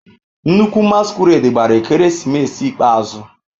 Nnukwu masquerade gbara ekeresimesi ikpeazụ.